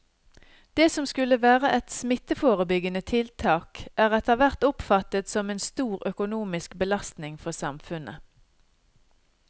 Det som skulle være et smitteforebyggende tiltak er etterhvert oppfattet som en stor økonomisk belastning for samfunnet.